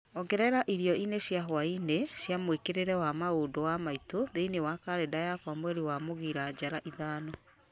ongerera irio-inĩ cia hwaĩ-inĩ cia mwĩkĩĩre wa maũndũ wa maitũ thĩinĩ wa karenda yakwa mweri wa mũgira njara ithano